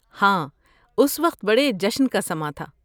ہاں، اس وقت بہت بڑے جشن کا سماں تھا۔